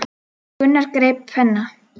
Gunnar greip penna.